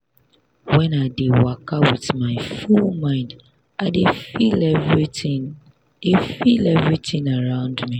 when i dey waka with my full mind i dey feel everitin dey feel everitin around me.